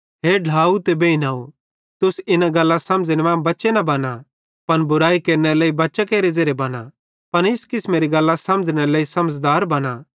हे ढ्लाव ते बेइनव तुस इना गल्लां समझ़ने मां बच्चे न बना पन बुरैई केरनेरे लेइ बच्चां केरे बना पन इस किसमेरी गल्लां समझ़नेरे लेइ समझ़दार बना